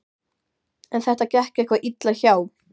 En þetta gekk eitthvað illa hjá